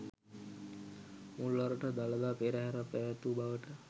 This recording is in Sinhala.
මුල්වරට දළදා පෙරහරක් පැවැත්වූ බවට